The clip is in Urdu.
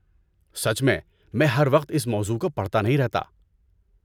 سچ میں، میں ہر وقت اس موضوع کو پڑھتا نہیں رہتا۔